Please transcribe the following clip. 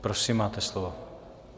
Prosím, máte slovo.